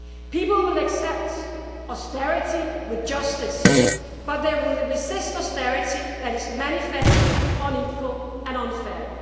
People will accept austerity with justice, but they will resist austerity that is manifestly unequal and unfair.